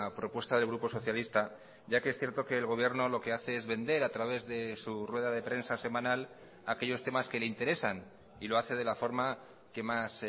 propuesta del grupo socialista ya que es cierto que el gobierno lo que hace es vender a través de su rueda de prensa semanal aquellos temas que le interesan y lo hace de la forma que más